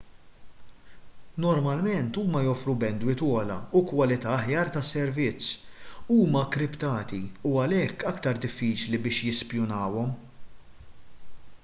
normalment huma joffru bandwidth ogħla u kwalità aħjar tas-servizz huma kkriptati u għalhekk aktar diffiċli biex jispjunawhom